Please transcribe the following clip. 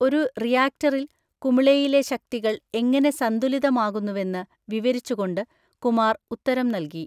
ഒരു റിയാക്ടറിൽ കുമിളയിലെ ശക്തികൾ എങ്ങനെ സന്തുലിതമാകുന്നുവെന്ന് വിവരിച്ചുകൊണ്ട് കുമാർ ഉത്തരം നൽകി.